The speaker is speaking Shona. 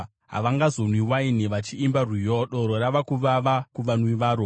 Havangazonwi waini vachiimba rwiyo; doro rava kuvava kuvanwi varo.